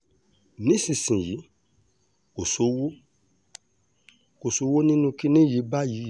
nísìnyìí kò sówó kò sówó nínú kinní yìí báyìí